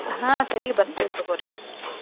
ಹಾ ಸರಿ ಬರ್ತೆವ್ ತಗೋರಿ.